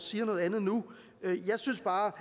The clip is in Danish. siger noget andet nu jeg synes bare